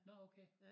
Nå okay ja